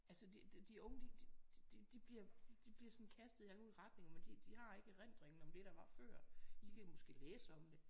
Altså det de unge de bliver sådan kastet i alle mulige retninger men de har ikke erindringen om det der var før. De kan måske læse om det